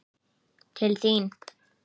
Til þín